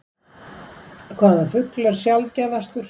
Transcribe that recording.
Hvaða fugl er sjaldgæfastur?